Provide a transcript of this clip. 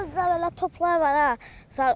O da belə toplar var ha.